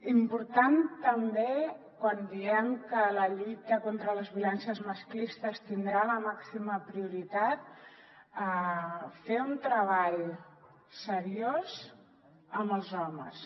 important també quan diem que la lluita contra les violències masclistes tindrà la màxima prioritat fer un treball seriós amb els homes